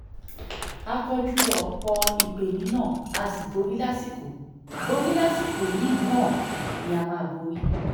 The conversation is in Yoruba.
a kojú ọ̀pọ̀ ìpeniná a sì borí lásìkò borí lásìkò yìí náà a máa borí